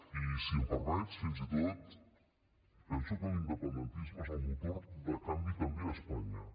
i si em permets fins i tot penso l’independentisme és el motor de canvi també a espanya